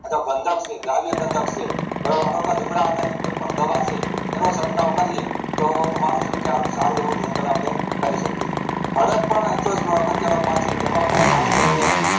આજે ત્રમ્બક છે દ્રવ્ય ત્રંબક છે લીમડા આધારિત કોઈ દવા છે તેનો છટકાવ કરીએ તો મનુ છું સારું એવું રોકડ આપડે કરી શકીએ હવે પણ અગત્ય નો પાક છે એમાં પણ ખાસ કરીને